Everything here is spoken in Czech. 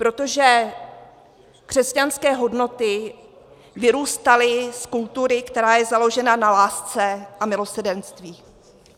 Protože křesťanské hodnoty vyrůstaly z kultury, která je založena na lásce a milosrdenství.